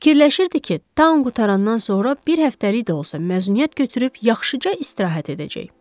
Fikirləşirdi ki, tan qurtarandan sonra bir həftəlik də olsa məzuniyyət götürüb yaxşıca istirahət edəcək.